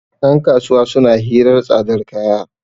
yankasuwa suna hirar tsadar kaya